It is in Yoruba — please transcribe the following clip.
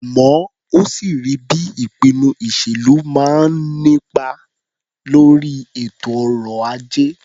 Àmọ́ ó sì rí bí ìpinnu ìṣèlú máa ń nípa lórí ètò ọrọ̀-ajé.